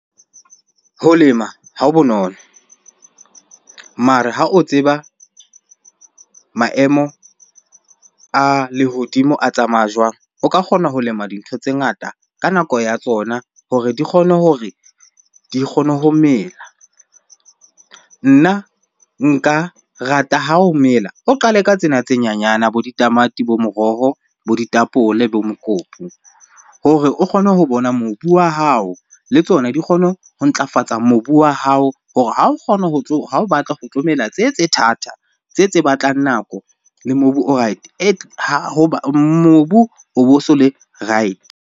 Ho lema ha ho bonolo. Mare ha o tseba maemo a lehodimo a tsamaya jwang? O ka kgona ho lema dintho tse ngata ka nako ya tsona hore di kgone hore di kgone ho mela. Nna nka rata ha o mela, o qale ka tsena tse nyenyana bo ditamati, bo moroho, bo ditapole, bo mokopu hore o kgone ho bona mobu wa hao. Le tsona di kgone ho ntlafatsa mobu wa hao hore ha o kgona ha o batla ho tse tse thata, tse tse batlang nako le mobu o right mobu o bo so le right.